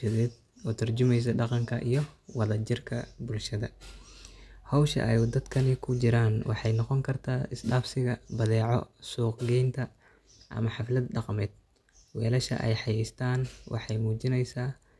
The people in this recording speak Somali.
sawirka waxay muujinayaan wadajir, hawsha ay ku jiraan waxay noqon kartaa mid turjumeysa dhaqanka bulshada, kobcisa wadajirka, iyo ka tarjunta muhiimadda hawsha ay wadaan. Qalabka ama weelasha ay dadka qaar wataan waxay muujinayaan in hawshu tahay mid abaabulan, oo laga yaabo in lagu fulinayo iskaashi ganacsi, adeeg bulsho, ama dhaqan-dhaqaale isdhexgal ah.